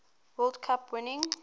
world cup winning